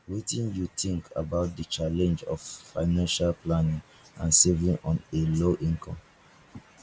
wetin you think about di challenge of financial planning and saving on a low income